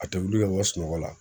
A tɛ wuli ka bɔ sunɔgɔ la